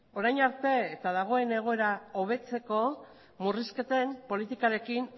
orain arte eta dagoen egoera hobetzeko murrizketen politikarekin